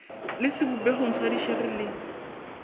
le sebopegong sa dišere le